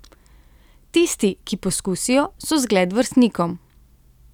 Tisti, ki poskusijo, so zgled vrstnikom.